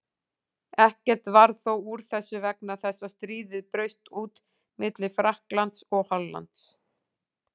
Ekkert varð þó úr þessu vegna þess að stríð braust út milli Frakklands og Hollands.